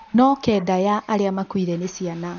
No kenda ya arĩa makuire nĩ ciana.